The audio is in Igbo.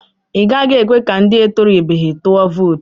I gaghị ekwe ka ndị etorubeghi tụọ vootu.